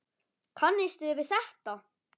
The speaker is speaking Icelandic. Kannist þið við þetta?